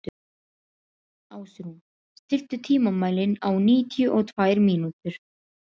Ásrún, stilltu tímamælinn á níutíu og tvær mínútur.